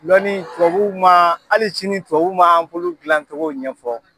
Lɔnni tubabuw man hali sini tubabuw man anpulu dilancogo ɲɛfɔ..